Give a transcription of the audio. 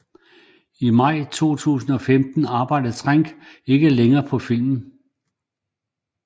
I maj 2015 arbejdede Trank ikke længere på filmen